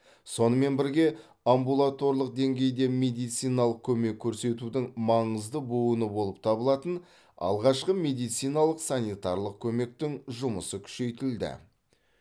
сонымен бірге амбулаторлық деңгейде медициналық көмек көрсетудің маңызды буыны болып табылатын алғашқы медициналық санитарлық көмектің жұмысы күшейтілді